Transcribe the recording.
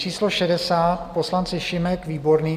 Číslo 60 - poslanci Šimek, výborný.